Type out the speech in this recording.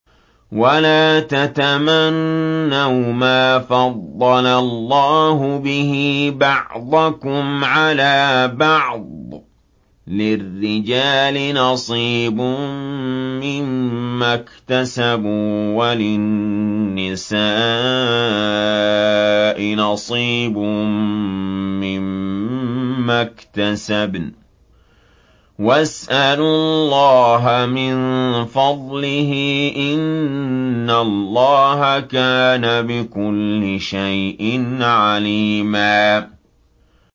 وَلَا تَتَمَنَّوْا مَا فَضَّلَ اللَّهُ بِهِ بَعْضَكُمْ عَلَىٰ بَعْضٍ ۚ لِّلرِّجَالِ نَصِيبٌ مِّمَّا اكْتَسَبُوا ۖ وَلِلنِّسَاءِ نَصِيبٌ مِّمَّا اكْتَسَبْنَ ۚ وَاسْأَلُوا اللَّهَ مِن فَضْلِهِ ۗ إِنَّ اللَّهَ كَانَ بِكُلِّ شَيْءٍ عَلِيمًا